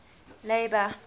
labour